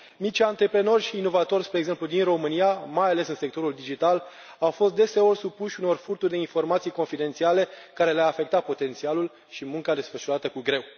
Mici antreprenori și inovatori, spre exemplu din România, mai ales în sectorul digital, au fost deseori supuși unor furturi de informații confidențiale, care le a afectat potențialul și munca desfășurată cu greu.